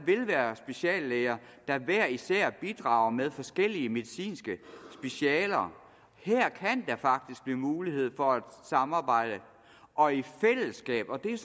være speciallæger der hver især bidrager med forskellige medicinske specialer her kan der faktisk blive mulighed for at samarbejde og i fællesskab og det er